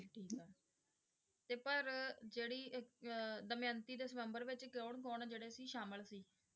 ਠੀਕ ਆ, ਤੇ ਪਰ ਜਿਹੜੀ ਅਹ ਦਮਿਅੰਤੀ ਦੇ ਸਵੰਬਰ ਵਿੱਚ ਕੌਣ ਕੌਣ ਜਿਹੜੇ ਸੀ ਸਾਮਿਲ ਸੀ?